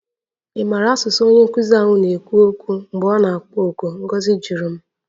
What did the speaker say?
Ị maara asụsụ onye nkụzi ahụ na-ekwu okwu mgbe ọ na-akpọ oku? Ngozi jụrụ m